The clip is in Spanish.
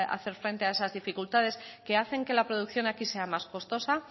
hacer frente a esas dificultades que hacen que la producción aquí sea más costosa